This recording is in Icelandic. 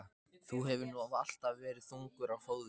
Þú hefur nú alltaf verið þungur á fóðrum.